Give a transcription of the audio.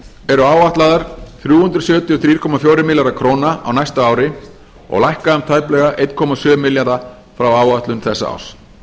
eru áætlaðar þrjú hundruð sjötíu og þrjú komma fjórir milljarðar króna á næsta ári og lækka um tæplega eitt komma sjö milljarða frá áætlun þessa árs